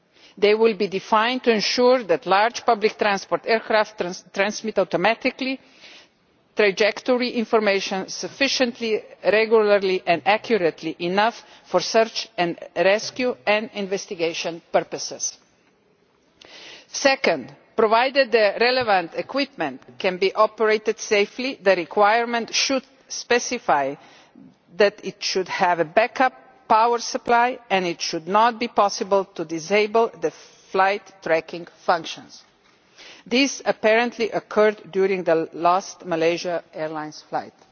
They will be defined to ensure that large public transport aircraft automatically transmit sufficient trajectory information regularly and accurately enough for search and rescue and investigation purposes. Second, provided that the relevant equipment can be operated safely, the requirement should specify that it should have a backup power supply and it should not be possible to disable the flight tracking functions. This apparently occurred during the Malaysia Airlines flight.